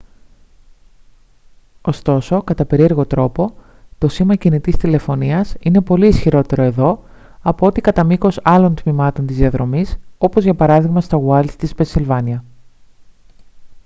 ωστόσο κατά περίεργο τρόπο το σήμα κινητής τηλεφωνίας είναι πολύ ισχυρότερο εδώ από ό,τι κατά μήκος άλλων τμημάτων της διαδρομής όπως για παράδειγμα στα ουάιλντς της πενσιλβάνια